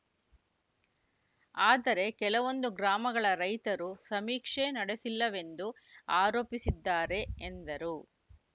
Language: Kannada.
ಆದರೆ ಕೆಲವೊಂದು ಗ್ರಾಮಗಳ ರೈತರು ಸಮೀಕ್ಷೆ ನಡೆಸಿಲ್ಲವೆಂದು ಆರೋಪಿಸಿದ್ದಾರೆ ಎಂದರು